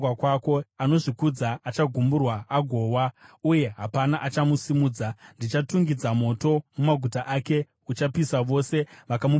Anozvikudza achagumburwa agowa, uye hapana achamusimudza; ndichatungidza moto mumaguta ake uchapisa vose vakamupoteredza.”